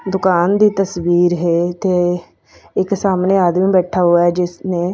ਦੁਕਾਨ ਦੀ ਤਸਵੀਰ ਹੈ ਇੱਥੇ ਇੱਕ ਸਾਹਮਣੇ ਆਦਮੀ ਬੈਠਾ ਹੂਆ ਹੈ ਜਿਸਨੇ--